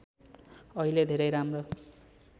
अहिले धेरै राम्रो